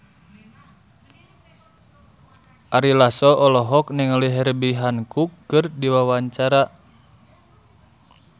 Ari Lasso olohok ningali Herbie Hancock keur diwawancara